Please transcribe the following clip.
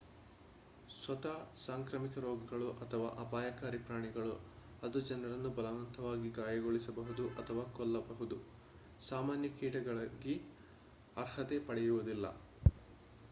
ಸ್ವತಃ ಸಾಂಕ್ರಾಮಿಕ ರೋಗಗಳು ,ಅಥವಾ ಅಪಾಯಕಾರಿ ಪ್ರಾಣಿಗಳು ಅದು ಜನರನ್ನು ಬಲವಂತವಾಗಿ ಗಾಯಗೊಳಿಸಬಹುದು ಅಥವಾ ಕೊಲ್ಲಬಹುದು ಸಾಮಾನ್ಯ ಕೀಟಗಳಾಗಿ ಅರ್ಹತೆ ಪಡೆಯುವುದಿಲ್ಲ